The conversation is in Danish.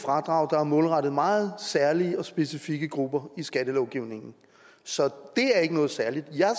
fradrag der er målrettet meget særlige og specifikke grupper i skattelovgivningen så det er ikke noget særligt jeg er